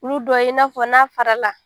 Olu dɔw i na fɔ n'a farala